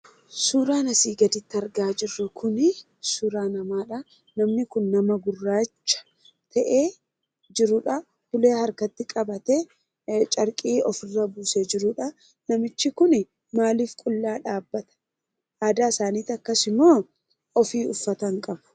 Suuraan asii gadi irratti argaa jirru kuni suuraa namaadha. Namni kun nama gurraacha ta'ee jirudha. Ulee harkatti qabatee; carqii ofirra buusee jirudha. Namichi kun maaliif qullaa dhaabbata? Aadaa isaaniitu akkasi moo ofii uffata hinqabu?